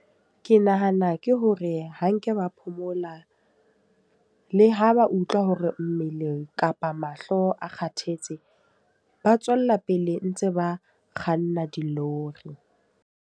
Ke nahana ke hore ha nke ba phomola. Le ho ba utlwa hore mmeleng kapa mahloko a Kgathetse. Ba tswella pele ntse ba kganna dilori.